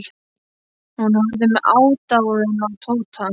Hún horfði með aðdáun á Tóta.